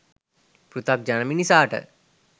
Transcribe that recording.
පෘථග්ජන මිනිසාට